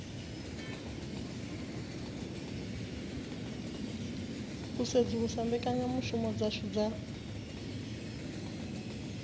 u sedzulusa mbekanyamushumo dzashu dza